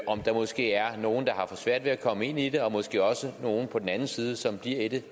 om der måske er nogle der har for svært ved at komme ind i det og måske også nogle på den anden side som bliver i det